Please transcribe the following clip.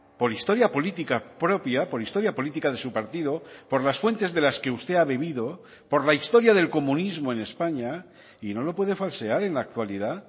por historia política propia por historia política de su partido por las fuentes de las que usted ha vivido por la historia del comunismo en españa y no lo puede falsear en la actualidad